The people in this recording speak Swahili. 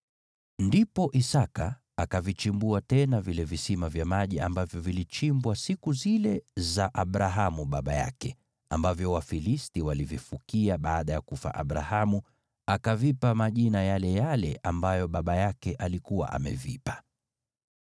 Ndipo Isaki akavichimbua tena vile visima vya maji ambavyo vilichimbwa siku zile za Abrahamu baba yake, ambavyo Wafilisti walivifukia baada ya kufa Abrahamu, akavipa majina yale yale ambayo baba yake alikuwa amevipa.